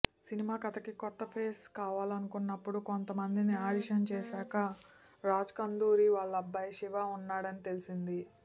cinema కథకి కొత్త face కావాలనుకున్నప్పుడు కొంత మందిని ఆడిషన్ చేశాక రాజ్కందుకూరి వాళ్ళబ్బాయి శివ ఉన్నాడని తెలిసింది